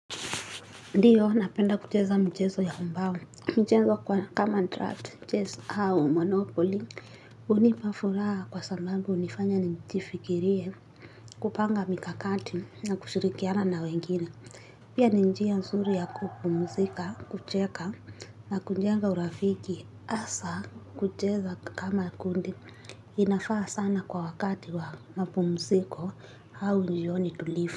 Ndiyo, napenda kucheza mchezo ya mbao, michezo kwa kama draft, mchezo au monopoly, hunipa furaha kwa sambambu hunifanya njifikirie, kupanga mikakati na kushirikiana na wengine. Pia ni njia nzuri ya kupumuzika, kucheka na kunjenga urafiki, asa kucheza kama kundi, inafaa sana kwa wakati wa mpumuziko hau njioni tulifu.